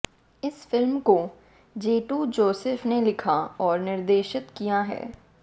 इस फिल्म को जेटू जोसेफ ने लिखा और निर्देशित किया है